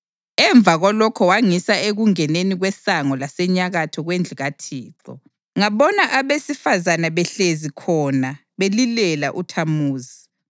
Emva kwalokho wangisa ekungeneni kwesango lasenyakatho kwendlu kaThixo, ngabona abesifazane behlezi khona belilela uThamuzi.